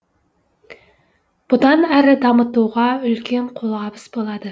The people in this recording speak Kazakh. бұдан әрі дамытуға үлкен қолғабыс болады